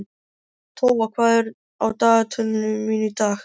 Tófa, hvað er á dagatalinu mínu í dag?